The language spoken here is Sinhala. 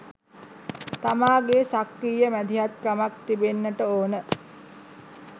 තමාගේ් සක්‍රීය මැදිහත්කමක් තිබෙන්නට ඕන